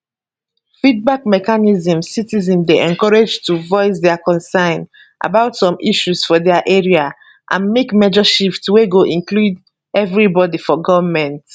feedback mechanismcitizens dey encourage to voice dia concern about some issues for dia area and make major shift wey go include everibodi for goment